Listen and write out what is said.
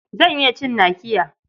Zan iya cin nakiya.